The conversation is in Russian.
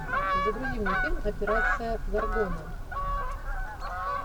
загрузи мне фильм операция горгона